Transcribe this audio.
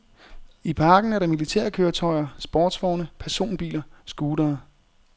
I parken er der militærkøretøjer, sportsvogne, personbiler, scootere.